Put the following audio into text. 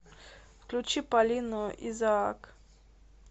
включи полину изаак